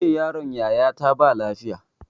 Jiya yaron yaya ta ba lafiya